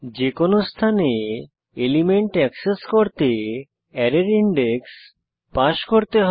যেকোনো স্থানে element access করতে অ্যারের ইনডেক্স পাস করতে হবে